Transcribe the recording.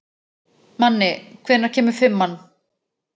Manni, hvenær kemur fimman?